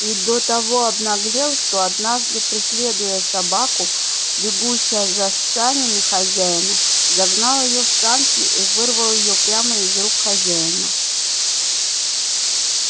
и до того обнаглел что однажды преследуя собаку бегущую за санями хозяина загнал её в сани и вырвал её прямо из рук хозяина